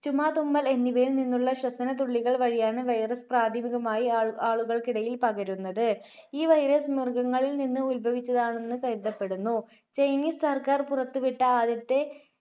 ചുമ, തുമ്മൽ എന്നിവയിൽനിന്നുള്ള ശ്വസനതുള്ളികൾ വഴിയാണ് virus പ്രാഥമികമായി ആളു~ആളുകൾക്കിടയിൽ പകരുന്നത്. ഈ virus മൃഗങ്ങളിൽ നിന്ന് ഉത്ഭവിച്ചതാണെന്ന് കരുതപ്പെടുന്നു. Chinese സർക്കാർ പുറത്തുവിട്ട ആദ്യത്തെ